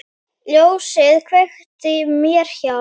Ljósið kveiktu mér hjá.